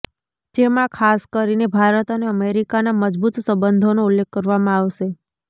જેમા ખાસ કરીને ભારત અને અમેરિકાના મજબૂત સંબંધોનો ઉલ્લેખ કરવામાં આવશે